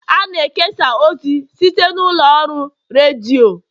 a na-ekesa ozi site n'ụlọ ọrụ redio